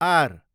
are